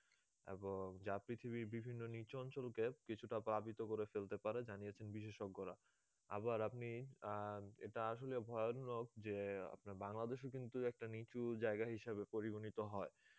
এবং যা পৃথিবীর বিভিন্ন নিচু অঞ্চলকে কিছুটা প্লাবিত করে ফেলতে পারে জানিয়েছেন বিশেষজ্ঞরা, আবার আপনি আহ এটা আসলেই ভয়ানক যে বাংলাদেশ ও কিন্তু একটি নিচু জায়গা হিসেবে পরিগণিত হয়